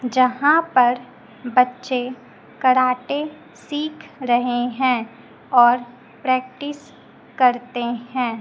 यहां पर बच्चे कराटे सीख रहे हैं और प्रैक्टिस करते हैं।